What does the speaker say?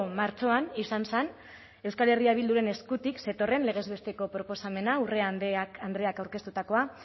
martxoan izan zen euskal herria bilduren eskutik zetorren legez besteko proposamena urra andreak aurkeztutakoa